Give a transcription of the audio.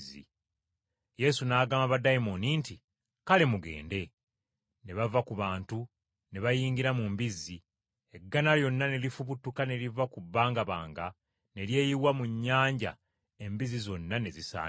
Yesu n’agamba baddayimooni nti, “Kale, mugende.” Ne bava ku bantu, ne bayingira mu mbizzi, eggana lyonna ne lifubutuka ne liva ku bbangabanga ne lyeyiwa mu nnyanja embizzi zonna ne zisaanawo.